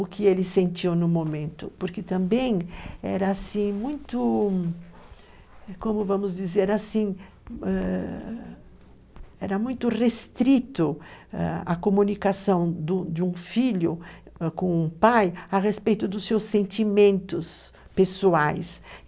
o que ele sentiu no momento, porque também era assim muito, como vamos dizer, assim, ãh, era muito restrito, ãh, a comunicação do de um filho com um pai a respeito dos seus sentimentos pessoais.